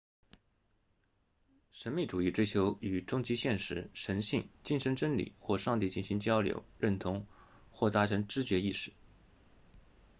神秘主义追求与终极现实神性精神真理或上帝进行交流认同或达成知觉意识